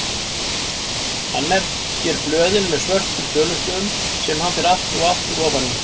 Hann merkir blöðin með svörtum tölustöfum sem hann fer aftur og aftur ofan í.